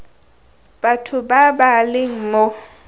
batho ba ba leng mo